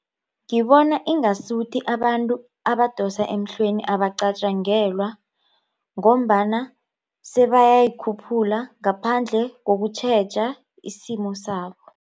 Ngibona ingasuthi abantu abadosa emhlweni abacatjangelwa ngombana sebayayikhuphula ngaphandle kokutjheja isimo sabo.